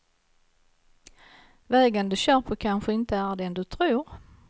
Vägen du kör på kanske inte är den du tror.